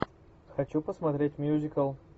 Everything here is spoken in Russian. хочу посмотреть мюзикл